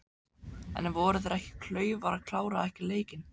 En voru þeir ekki klaufar að klára ekki leikinn?